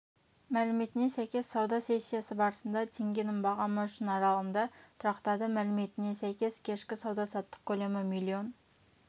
мәліметіне сәйкес сауда сессиясы барысында теңгенің бағамы үшін аралығында тұрақтады мәліметіне сәйкес кешкі сауда-саттық көлемі миллион